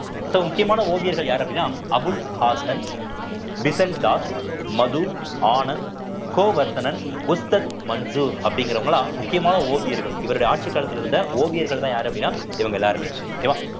so முக்கியமான ஓவியர்கள் யாரு அப்படின்னா அபுல் ஹாசன், தாஸ், மது ஆனந்த், கோவர்த்தனன், மஞ்சு அப்படிங்கறவங்க எல்லாம் முக்கியமான ஓவியர்கள் இவருடைய ஆட்சிக் காலத்திலிருந்த ஓவியர்கள்தான் யாரு அப்படின்னா இவங்க எல்லாருமே okay வா